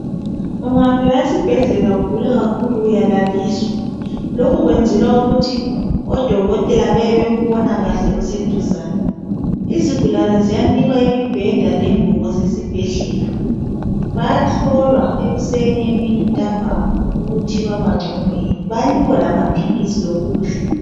ungafika esibhedlela ugula kakhulu uyalaliswa lokho kuyenzelwa ukuthi odokotela bebebekubona kahle useduzane izigulane ziyanikwa imibheda lengubo zesibhedlela bayahlolwa ekuseni emin ntambama ukuthi baba ngcono yini bayanikwa lokudla